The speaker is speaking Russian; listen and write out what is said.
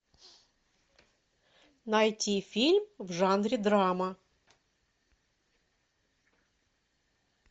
найти фильм в жанре драма